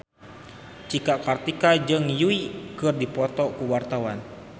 Cika Kartika jeung Yui keur dipoto ku wartawan